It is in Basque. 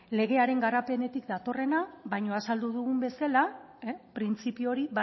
legearen garapenetik datorrena baina azaldu dugun bezala printzipio hori